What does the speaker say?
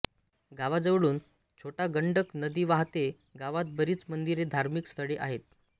गावाजवळून छोटा गंडक नदी वाहते गावात बरीच मंदिरे धार्मिक स्थळे आहेत